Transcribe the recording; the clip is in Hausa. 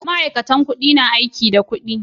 Ma'aikatan kudi na aiki da kudi.